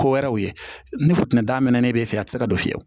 Ko wɛrɛw ye ni funtɛni da mɛnnen fɛ a tɛ se ka don fiyewu